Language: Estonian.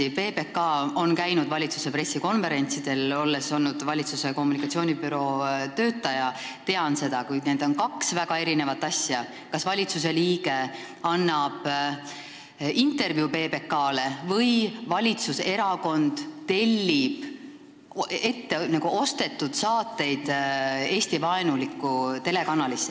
Jah, PBK on tõesti käinud valitsuse pressikonverentsidel – olles olnud valitsuse kommunikatsioonibüroo töötaja, tean seda –, kuid need on väga erinevad asjad, kas valitsusliige annab PBK-le intervjuu või valitsuserakond tellib Eesti-vaenulikult telekanalilt n-ö ostetud saateid.